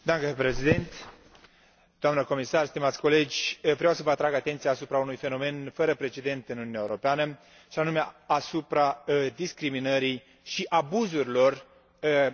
Vreau să vă atrag atenția asupra unui fenomen fără precedent în Uniunea Europeană, și anume asupra discriminării și abuzurilor împotriva studenților români din Marea Britanie.